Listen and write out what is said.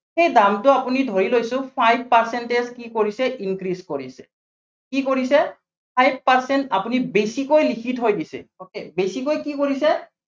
সেই দামটো আপুনি ধৰি লৈছো five percentage কি কৰিছে, increase কৰিছে, কি কৰিছে five percentage আপুনি বেছিকৈ লিখি থৈ দিছে। okay বেছিকৈ কি কৰিছে